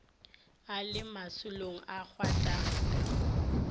a le masolong a gwatanka